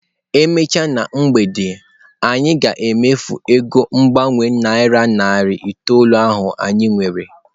E mechaa na mgbede a, anyị ga-emefu ego mgbanwe naira narị itoolu ahụ anyị nwere.